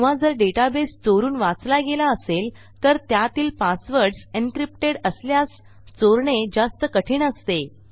किंवा जर डेटाबेस चोरून वाचला गेला असेल तर त्यातील पासवर्डस encryptedअसल्यास चोरणे जास्त कठीण असते